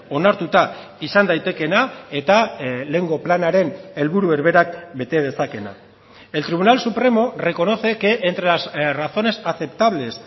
onartuta izan daitekeena eta lehengo planaren helburu berberak bete dezakeena el tribunal supremo reconoce que entre las razones aceptables